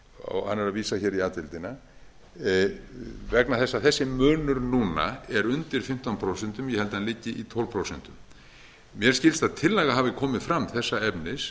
hann er að vísa hér í a deildina vegna þess að þessi munur núna er undir fimmtán prósent ég held að hann liggi í tólf prósent mér skilst að tillaga hafi komið fram þessa efnis